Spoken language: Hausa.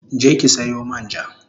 Je ki sayo man ja